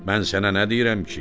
Mən sənə nə deyirəm ki?